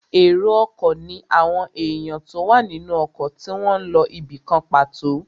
Èrò ọkọ̀ ní àwọn èèyàn tó wà nínú ọkọ̀ tí wọ́n n lọ ibìkan pàtó